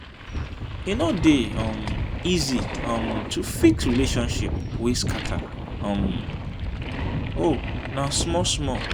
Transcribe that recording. e no dey um easy um to fix relationship wey scatter um o na small-small.